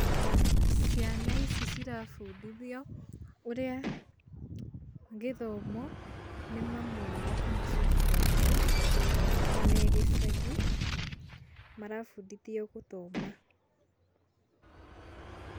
Ciana ici cirabundithio ũrĩa gĩthomo nĩ mamu wao kana cũcũ wao me gĩcagi marabundithio gũthoma.